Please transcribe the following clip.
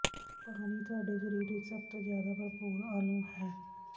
ਪਾਣੀ ਤੁਹਾਡੇ ਸਰੀਰ ਵਿੱਚ ਸਭ ਤੋਂ ਜ਼ਿਆਦਾ ਭਰਪੂਰ ਅਣੂ ਹੈ